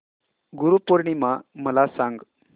गुरु पौर्णिमा मला सांग